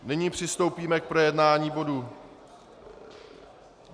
Nyní přistoupíme k projednání bodu